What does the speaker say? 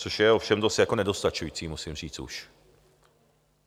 Což je ovšem jako dost nedostačující, musím říct už.